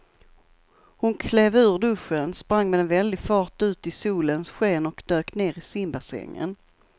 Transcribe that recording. Hon klev ur duschen, sprang med väldig fart ut i solens sken och dök ner i simbassängen.